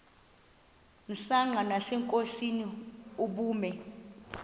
msanqa nasenkosini ubume